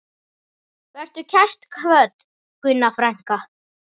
Vertu kært kvödd, Gunna frænka.